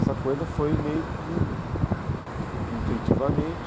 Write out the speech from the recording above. Essa coisa foi meio que, intuitivamente,